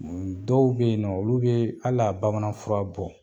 Dɔw be yen nɔ olu be al'a bamananfura bɔ